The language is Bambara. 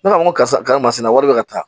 Ne b'a fɔ n ko karisa masina wari bɛ ka taa